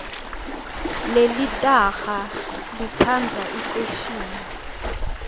lelitaha litsandza ifeshini